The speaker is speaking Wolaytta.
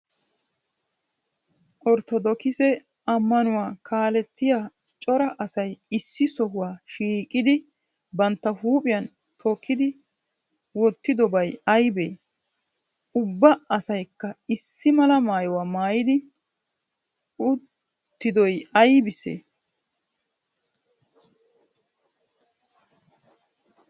Ortodokkisse ammanuwa kaalettiya cora asay issi sohuwa shiqqidi bantta huuphiyan tookidi wotidobaay aybee? Ubba asaykka issi malaa maayuwa maayidi uttidoy aybisee?